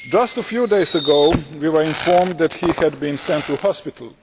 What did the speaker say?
Just a few days ago we were informed that he had been sent to hospital.